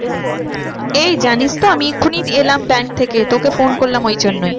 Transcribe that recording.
এই জানিস তো আমি এক্ষুনি এলাম bank থেকে তোকে phone করলাম ওই জন্য